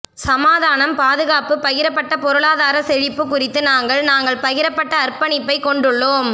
சமாதானம் பாதுகாப்பு பகிரப்பட்ட பொருளாதார செழிப்பு குறித்து நாங்கள் நாங்கள் பகிரப்பட்ட அர்ப்பணிப்பை கொண்டுள்ளோம்